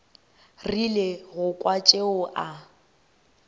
rile go kwa tšeo a